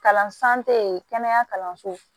Kalansen kɛnɛya kalanso